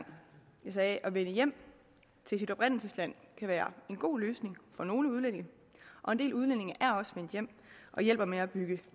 jeg sagde at vende hjem til sit oprindelsesland kan være en god løsning for nogle udlændinge og en del udlændinge er også vendt hjem og hjælper med at bygge